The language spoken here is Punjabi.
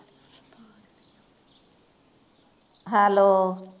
hello